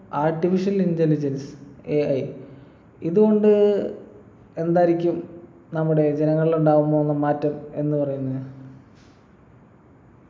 artificial intelligenceAI ഇതുകൊണ്ട് എന്തായിരിക്കും നമ്മുടെ ജനങ്ങളിലുണ്ടാകാൻ പോകുന്ന മാറ്റം എന്ന് പറയുന്നെ